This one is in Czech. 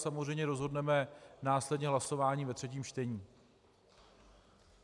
Samozřejmě rozhodneme následně hlasováním ve třetím čtení.